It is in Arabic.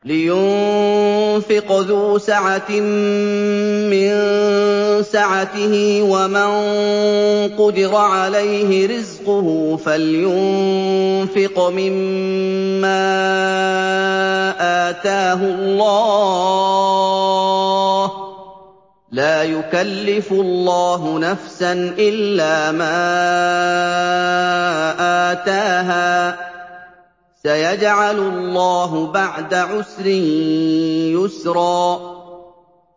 لِيُنفِقْ ذُو سَعَةٍ مِّن سَعَتِهِ ۖ وَمَن قُدِرَ عَلَيْهِ رِزْقُهُ فَلْيُنفِقْ مِمَّا آتَاهُ اللَّهُ ۚ لَا يُكَلِّفُ اللَّهُ نَفْسًا إِلَّا مَا آتَاهَا ۚ سَيَجْعَلُ اللَّهُ بَعْدَ عُسْرٍ يُسْرًا